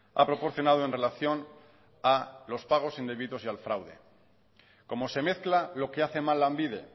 ha proporcionado en relación a los pagos indebidos y al fraude como se mezcla lo que hace mal lanbide